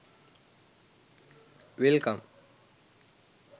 welcome